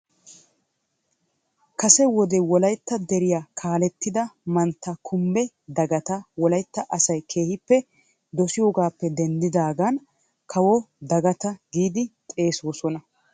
Kase wode Wolaytta deriyaa kaaletida Mantta Kumbbe Dagatta Wolaytta asay keehippe doosiyoogappe denddidaagan " kawo Dagatta " giidi xeegoosona .